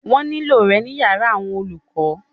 Wọ́n ní lò rẹ ní yàrá àwọn olùkọ.